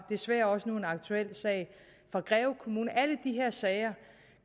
desværre også nu en aktuel sag fra greve kommune at alle de her sager